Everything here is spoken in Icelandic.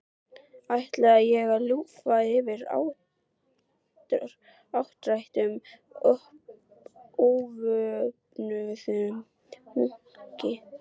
Ætlaði ég að lúffa fyrir áttræðum óvopnuðum munki?